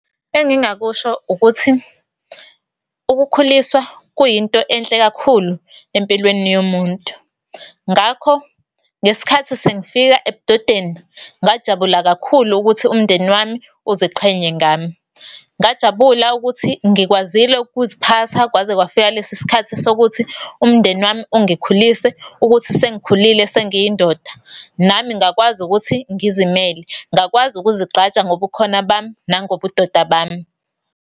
Engingakusho ukuthi ukukhuliswa kuyinto enhle kakhulu empilweni yomuntu. Ngakho, ngesikhathi sengifika ebudodeni ngajabula kakhulu ukuthi umndeni wami uziqhenye ngami. Ngajabula ukuthi ngikwazile ukuziphatha kwaze kwafika lesi sikhathi sokuthi umndeni wami ungikhulise ukuthi sengikhulile sengiyindoda, nami ngakwazi ukuthi ngizimele, ngakwazi ukuzigqaja ngobukhona bami nangobudoda bami.